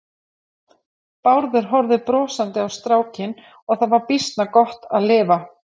Bárður horfði brosandi á strákinn og það var býsna gott að lifa.